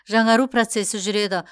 жаңару процесі жүреді